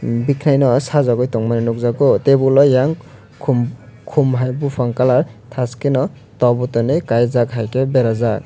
bikanai no sajagoi tongmani nogjago tebol yang kom kom hai bopang colour tajke no rok botani kaijak haike berajak.